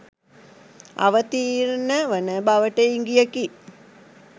අවතීර්ණ වන බවට ඉඟියකි